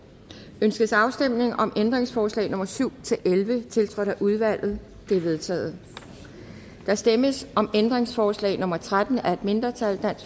ønskes afstemning om ændringsforslag nummer syv elleve tiltrådt af udvalget de er vedtaget der stemmes om ændringsforslag nummer tretten af et mindretal